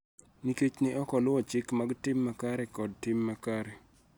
Nikech ne ok oluwo chike mag tim makare kod tim makare.